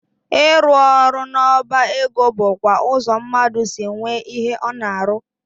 Ịrụ ọrụ n'ọba ego bụkwa ụzọ mmadụ si nwee ihe ọ na-arụ.